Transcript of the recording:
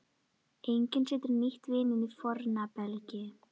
Enginn setur nýtt vín á forna belgi.